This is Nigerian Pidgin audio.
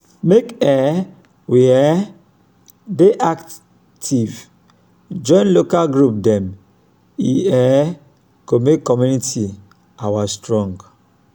make um we um dey active join local group dem e um go make community our strong